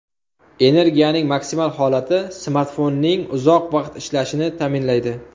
Energiyaning maksimal holati smartfonning uzoq vaqt ishlashini ta’minlaydi.